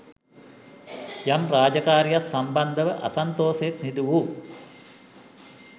යම් රාජකාරීයක් සම්බන්ධව අසන්තෝෂයෙන් සිදු වූ